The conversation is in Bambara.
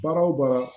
Baara o baara